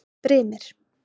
Brimir